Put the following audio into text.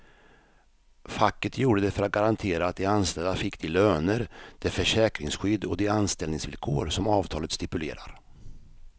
Facket gjorde det för att garantera att de anställda fick de löner, det försäkringsskydd och de anställningsvillkor som avtalet stipulerar.